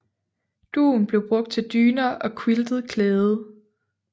Dun blev brugt til dyner og quiltet klæde